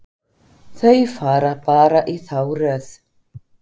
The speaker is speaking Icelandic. Þau fara bara í þá röð.